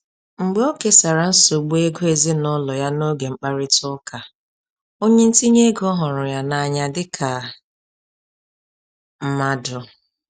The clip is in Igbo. Mgbe o kesara nsogbu ego ezinụlọ ya n'oge mkparịta ụka, onye ntinye ego hụrụ ya n’anya dịka mmadụ.